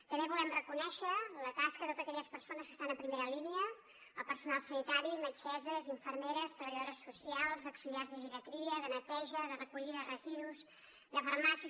també volem reconèixer la tasca de totes aquelles persones que estan a primera línia al personal sanitari metgesses infermeres treballadores socials auxiliars de geriatria de neteja de recollida de residus de farmàcies